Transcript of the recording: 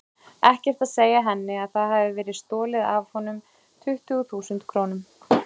Ekkert að segja henni að það hafi verið stolið af honum tuttugu þúsund krónum.